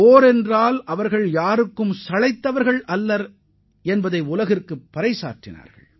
போர் என்று வந்தால் இந்தியர்கள் யாருக்கும் சளைத்தவர்கள் அல்ல என்பதையும் இந்திய வீரர்கள் எடுத்துரைத்துள்ளனர்